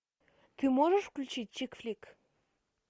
ты можешь включить чик флик